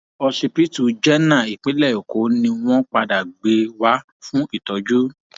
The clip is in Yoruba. òsibítù jẹnà ìpínlẹ èkó ni wọn padà gbé e wá fún ìtọjú